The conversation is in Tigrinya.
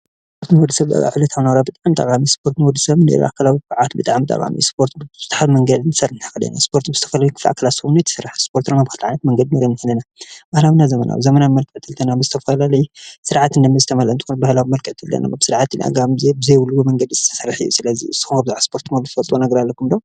ስፖርት ኣብ ዕለታዊ ናብራ ብጣዕሚ ጠቃሚዝኮኑ ንወዲሰብ ጠቃሚ ዝኮኑ ስፖርት ክሰርሕ ይክእል እዩ ።ስፖርት ብዝተፈላለዩመንገዲ ብ2ተ መንገዲ መቂልና ክንሪኦም ንክእል ኢና ።ንሳቶም እውን ባህላውን ዘመናውን ስርዓት ብዝተመለኦ ባህላዊ መልክዕ ስርዓት ብዘይብሉ መንገዲ ዝተሰረሐ እዩ። ስለዚ ንስኩም ብዛዕባ ስፖርት ትፈልጥዎ አለኩም ዶ?